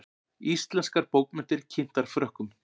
Íslenskar bókmenntir kynntar Frökkum